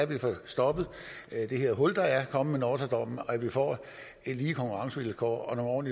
vi får stoppet det her hul der er kommet med nortra dommen og at vi får lige konkurrencevilkår og